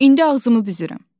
İndi ağzımı büzürəm.